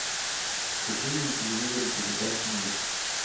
включи мне на телевизоре передачу мир